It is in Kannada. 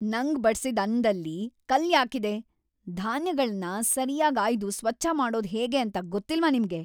ನಂಗ್‌ ಬಡ್ಸಿದ್‌ ಅನ್ನದಲ್ಲಿ ಕಲ್ಲ್ ಯಾಕಿದೆ? ಧಾನ್ಯಗಳ್ನ ಸರ್ಯಾಗ್ ‌ಆಯ್ದು ಸ್ವಚ್ಛ ಮಾಡೋದ್ ಹೇಗೆ ಅಂತ ಗೊತ್ತಿಲ್ವಾ ನಿಮ್ಗೆ?